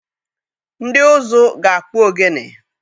Ndị ụzụ na-akpụ ogene.